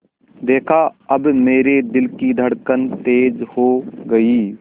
देखा अब मेरे दिल की धड़कन तेज़ हो गई